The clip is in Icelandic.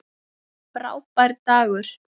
Frábær dagur.